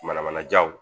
Manamanajaw